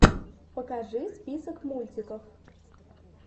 покажи список мультиков